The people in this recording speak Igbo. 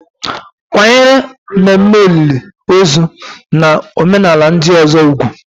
Kwanyere ememe olili ozu na omenala ndị ọzọ ùgwù